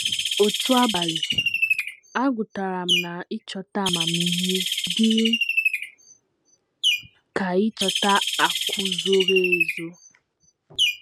Otu abalị, agụtara m na ‘ ịchọta amamihe dị ka ịchọta akụ̀ zoro ezo. ’